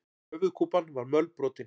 Höfuðkúpan var mölbrotin.